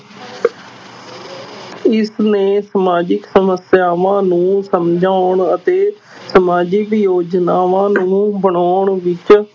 ਇਸਨੇ ਸਮਾਜਿਕ ਸਮੱਸਿਆਵਾਂ ਨੂੰ ਸਮਝਾਉਣ ਅਤੇ ਸਮਾਜਿਕ ਯੋਜਨਾਵਾਂ ਨੂੰ ਬਣਾਉਣ ਵਿੱਚ